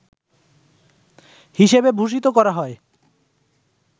হিসেবে ভূষিত করা হয়